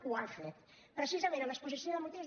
ho han fet precisament a l’exposició de motius